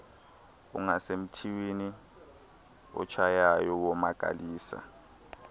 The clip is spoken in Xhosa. ungasemntwini otshayayo womakalisa